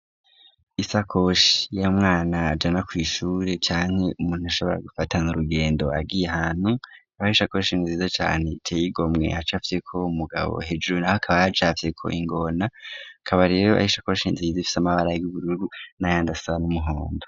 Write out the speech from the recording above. Ishakoshi y'umwana ajana kw'ishure canke umuntu ashobora gufatana urugendo agiye ahantu, ari ishakoshi nziza cane iteye igomwe ikaba icafyeko umugabo, hejuru naho hakaba hacafyeko ingona, ikaba rero ari ishakoshi nziza ifise amabara y'ubururu n'ayandi asa n'umuhondo.